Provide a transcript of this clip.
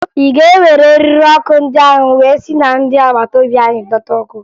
Ị ga-ewere eriri ọkụ ndị ahụ wee si na ndị agbata obi anyị dọta ọkụ?